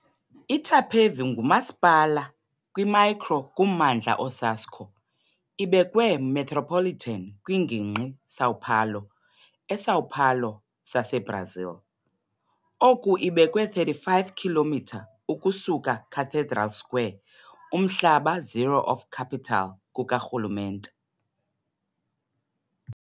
Itapevi ngumasipala kwi micro-kummandla Osasco, ibekwe Metropolitan kwiNgingqi São Paulo, e'São Paulo, saseBrazil. Oku ibekwe-35 km ukusuka Cathedral Square, umhlaba zero of capital kukarhulumente.